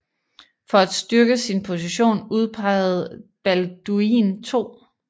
For at styrke sin position udpegede Balduin 2